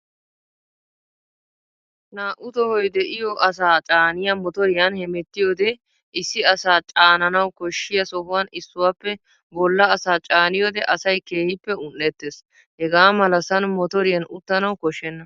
Naa"u tohoy de"iyoo asaa caaniyaa motoriyan hemettiyoodee issi asaa caananawu koshshiyaa sohuwan issuwaappe bolla asaa caaniyoodee asay keehippe un"ettees. Hegaa malasan motoriyan uttanawu koshshenna